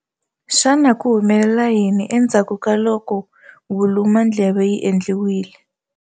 Xana ku humelela yini endzhaku ka loko vulu mandleve byi endliwile?